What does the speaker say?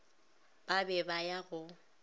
ba be ba ya go